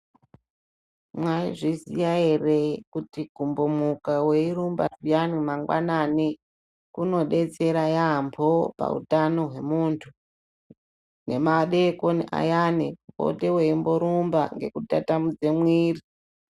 Maizviziya ere kuti kumbomuka weirumba zviyani mangwanani, kunodetsera yaampho pautano hwemuntu, nemadeekoni ayani, opote eimborumba ngekutatamudze mwiiri.